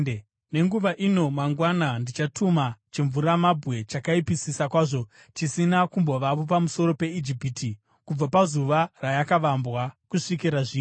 Naizvozvo, nenguva ino mangwana ndichatuma chimvuramabwe chakaipisisa kwazvo chisina kumbovapo pamusoro peIjipiti, kubva pazuva rayakavambwa kusvikira zvino.